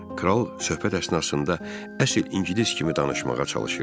Kral söhbət əsnasında əsil ingilis kimi danışmağa çalışırdı.